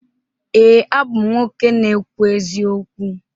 Ee, abụ m nwoke na-ekwu eziokwu.